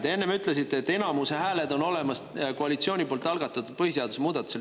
Te enne ütlesite, et enamuse hääled on olemas koalitsiooni algatatud põhiseaduse muudatusel.